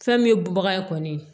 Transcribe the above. Fɛn min ye bubaga ye kɔni